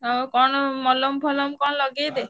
ଆଉ କଣ ମଲମ ଫଳମ କଣ ଲଗେଇଦେ।